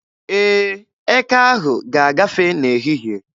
Ee, eke ahụ ga-agafe n'ehihie.